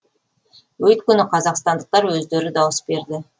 өйткені қазақстандықтар өздері дауыс берді